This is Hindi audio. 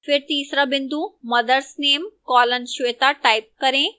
फिर तीसरा बिंदु mothers name colon shweta type करें